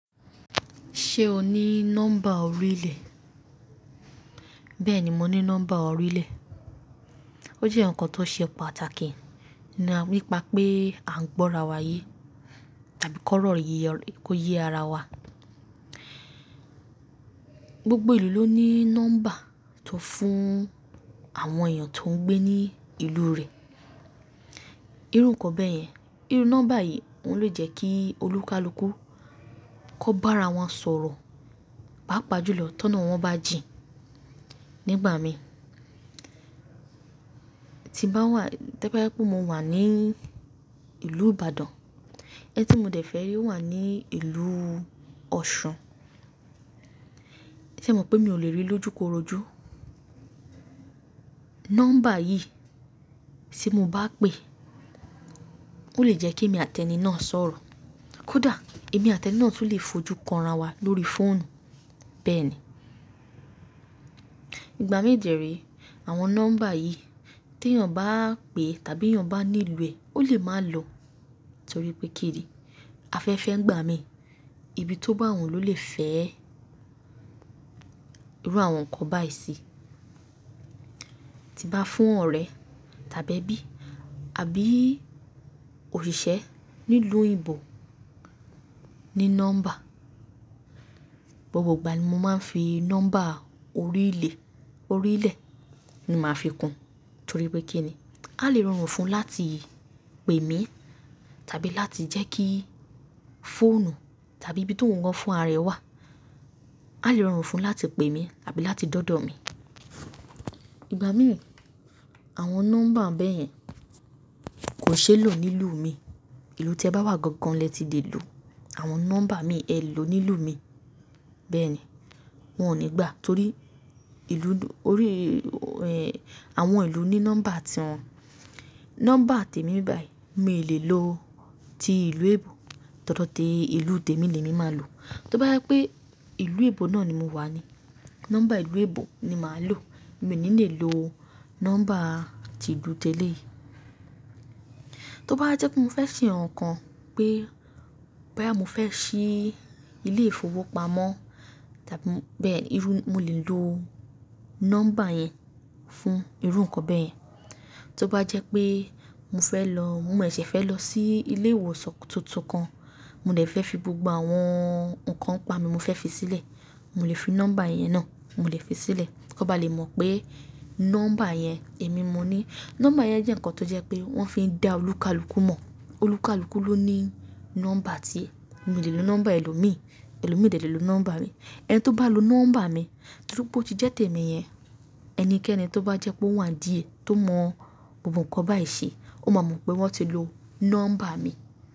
Ṣe o ni nọ́mbà orílẹ̀? Bẹ́ẹ̀ni mo ní nọ́mbà orílẹ̀. O jẹ́ ǹkan tó ṣe pàtàkì, nípa pé à ń gbọ́ra wá ye tàbí kọ́rọ̀ ye, kó yé ara wa. Gbogbo ìlú ló ní nọ́mbà tó fún àwọn èèyàn tó ń gbé ní ìlú rẹ̀. Irú ǹkan bẹ́ẹ̀ yẹn. Irú nọ́mbà yìí ó lè jẹ́ kí olúkalùkù kò bá ara wọn sọ̀rọ̀, paapá ju lọ, tọ́nà wọ́n bá jìn. Nígbà mi tí bá wà, tí o bá jẹ́ pé mo wà ní ìlú Ìbàdàn, ẹni tí mo dẹ̀ fẹ́ rí o wà ní ìlú Ọ̀ṣun, ṣe mọ̀ pé mi ò lè rí i l'ójúkorojú. Nọ́mbà yìí tí mo bá pè, ó lè jẹ́ kí èmi àti ẹni náà sọ̀rọ̀. Kódà èmi àti ẹni náà tún lè fojú kan ara wa lórí fóònù bẹ́ẹ̀ni. Ìgbà mí dì é re, àwọn nọ́mbà yìí tí èèyàn bá pè tàbí ti èèyàn bá nílo ẹ, ó lè máa lọ torí pé kíni? Afẹ́fẹ́ ń gbà mí. Ibi tó bá wùn ló lè fẹ́ẹ. Irú àwọn ǹkan báyìí sì tí n bá fún ọ̀rẹ́ tàbí ẹbí, àbí osise nílùú oyinbo ní nọ́mbà. Gbogbo ìgbà ni mo máa ń fi nọ́mbà orílẹ̀, orílẹ̀ ni màá fi kún torí pé kíni? A lè rọrùn fún láti pè mí tàbí láti jẹ́ kí fóònù tàbí ibi tó ń wọ́n fún ara rẹ̀ wà. A lè rọrùn fún un láti pè mí tàbí láti d'ọ́dọ̀ mi. Ìgbàmíi, àwọn nọ́mbà bẹ́ẹ̀ yẹn kò ṣeé lò nílùú imi. Ìlú tẹ bá wà gangan lẹ ti lè lò àwọn nọ́mbà imi ẹ lò nílùú mi. Bẹ́ẹ̀ni, wọn ní gbà torí ìlú, orí, ẹ, àwọn ìlú ní nọ́mbà ti wọn. Nọ́mbà tèmi báyìí mi ò lè lò ti ìlú eebo T'ọ́dọ̀ ti ìlú tèmi ni emi má lò. Tó bá jẹ́ pé ìlú eebo náà ni mo wà ni, nọ́mbà ìlú eebo na ni màá lò. Mi ò ní lè lò nọ́mbà ti ìlú tèléyii. Tí ó bá jẹ́ pé mo fẹ́ ṣe ǹkankan pé boyá mo fẹ́ ṣí ilé-ìfowópamọ́ tàbí bẹ́ẹ̀, irú, mo lè lò nọ́mbà yẹn fún irú ǹkan bẹ́eyẹn. Tó bá jẹ́ pé mo fẹ́ lọ, mo sẹṣẹ̀ fẹ́ lọ sí ilé ìwòsàn tuntun kan, mo dẹ̀ fẹ́ fi gbogbo àwọn ǹkan npa mi mo fẹ́ fi sílẹ̀, mo lè fi nọ́mbà yẹn náà, mo lè fi sílẹ̀. Kan bá lè mọ̀ pé nọ́mbà yẹn èmi mo ní. Nọ́mbà yẹn jẹ́ ǹkan tó jẹ́ pé wọ́n fi ń da olúkalùkù mọ̀. Olúkalùkù ló ní nọ́mbà tie. Mi ò lè lo nọ́mbà ẹlòmíì, ẹlòmíì o dẹ̀ lè lo nọ́mbà mi. Ẹni tí ó bá lo nọ́mbà mi, fun pe ó ti jẹ́ tèmi yẹn, ẹnikẹ́ni tó bá jẹ́ pé ó wà n díẹ̀ tó mọ gbogbo ǹkan báyìí ṣe, ó máa mọ̀ pé wọ́n ti lo nọ́mbà mi.